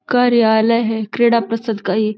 कार्यालय है। क्रीड़ा प्रसिद्ध का --